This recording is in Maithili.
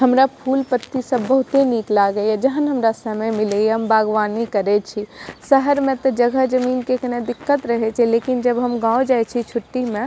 हमरा फूल-पत्ती सब बहुते निक लागे या जहन हमरा समय मिले या हम बागवानी करे छी शहर में ते जगह-जमीन के कने दिक्कत रहे छै लेकिन जब हम गांव जाय छी छुट्टी में --